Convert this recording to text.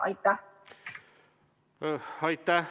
Aitäh!